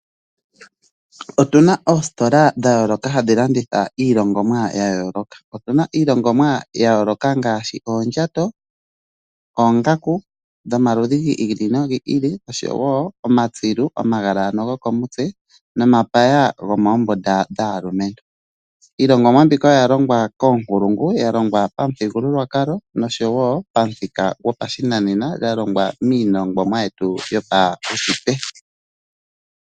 Otu na oositola dha yooloka hadhi landitha iilongomwa ya yooloka. Otu na iilongomwa ya yooloka ngaashi oondjato, oongaku dhomaludhi gi ili nogi ilo nosho wo omatsilu omagala ano gokomutse nomapaya gomoombunda dhaalumentu. Iilongomwa mbika oya longwa koonkulungu, ya longwa pamuthigululwakalo nosho wo pamuthika gopashinanena, ya longwa miilongomwa yetu yopaushitwe.